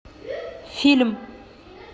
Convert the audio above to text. фильм